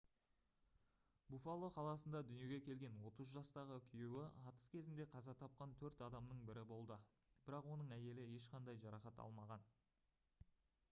буффало қаласында дүниеге келген 30 жастағы күйеуі атыс кезінде қаза тапқан төрт адамның бірі болды бірақ оның әйелі ешқандай жарақат алмаған